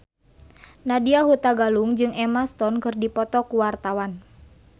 Nadya Hutagalung jeung Emma Stone keur dipoto ku wartawan